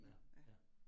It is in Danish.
Ja, ja